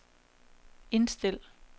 indstil